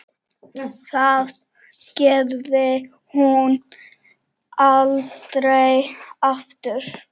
Það gerði hún aldrei aftur.